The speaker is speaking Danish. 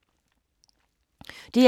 DR2